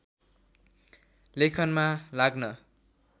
लेखनमा लाग्न